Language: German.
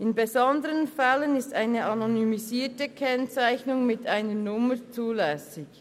In besonderen Fällen ist eine anonymisierte Kennzeichnung mit einer Nummer zulässig.